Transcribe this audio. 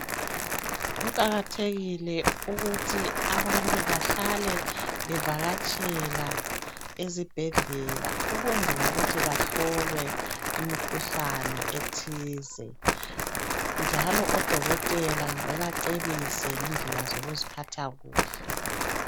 Kuqakathekile ukuthi abantu bahlale bevakatshela ezibhedlela ukwenzela ukuthi bahlolwe imikhuhlane ethize njalo odokotela bebacebise ngendlela zokuziphatha kuhle.